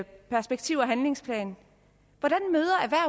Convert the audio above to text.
perspektiv og handlingsplanen